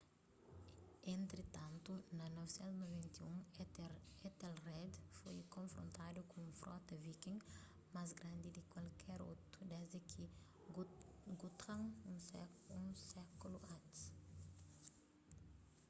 entritantu na 991 ethelred foi konfrontadu ku un frota viking más grandi di ki kalker otu desdi di guthrum un sékulu antis